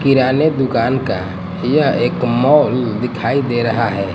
किराने दुकान का यह एक मॉल दिखाई दे रहा है।